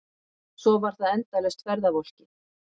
Svo var það endalaust ferðavolkið.